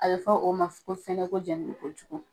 A be fɔ o ma ko fɛnɛ ko jɛnini ko jugu.